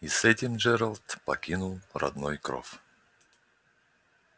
и с этим джералд покинул родной кров